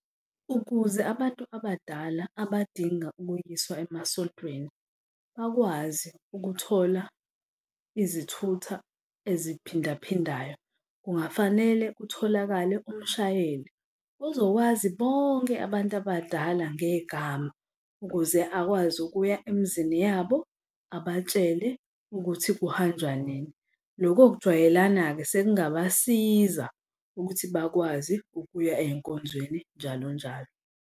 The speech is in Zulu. Ukuze abantu abadala abadinga ukuyiswa emasontweni bakwazi ukuthola izithutha eziphindaphindayo kungafanele kutholakale umshayeli uzokwazi bonke abantu abadala ngegama ukuze akwazi ukuya emizini yabo abatshele ukuthi kuhanjwa nini. Loko kujwayelana-ke sekungabasiza ukuthi bakwazi ukuya ey'nkonzweni, njalo njalo.